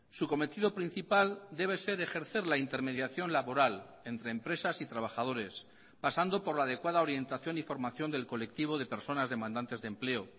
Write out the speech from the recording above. su cometido principal debe ser ejercer la intermediación laboral entre empresas y trabajadores pasando por la adecuada orientación y formación del colectivo de personas demandantes de empleo